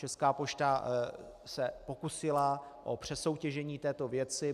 Česká pošta se pokusila o přesoutěžení této věci.